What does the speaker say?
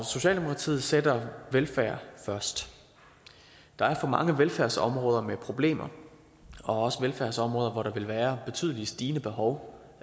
socialdemokratiet sætter velfærd først der er for mange velfærdsområder med problemer og også velfærdsområder hvor der vil være betydeligt stigende behov